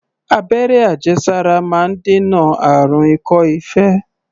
Abẹ́rẹ́ àjẹsára máa ń dènà àrùn ikọ́-ife.